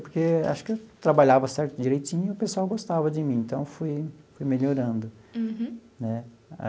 Porque acho que eu trabalhava certo, direitinho, o pessoal gostava de mim, então fui fui melhorando. Uhum. Né?